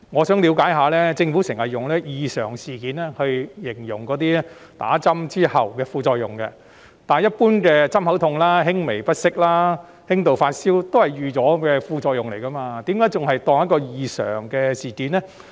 政府經常用上"異常事件"形容注射疫苗後的副作用，但一般針口痛、輕微不適、輕度發燒皆是預期之內的副作用，為何政府會當作是異常事件呢？